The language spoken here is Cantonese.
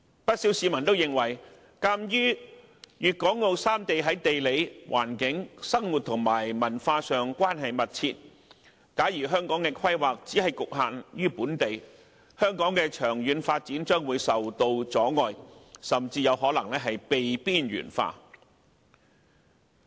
不少市民也認為，鑒於粵港澳三地於地理環境、生活和文化上關係密切，假如香港的規劃只局限於本地，香港的長遠發展將會受到阻礙，甚至有可能被邊緣化。